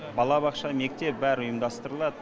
балабақша мектеп бәрі ұйымдастырылады